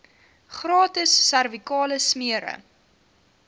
gratis servikale smere